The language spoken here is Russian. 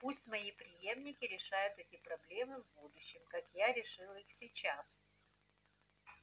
пусть мои преемники решают эти проблемы в будущем как я решил их сейчас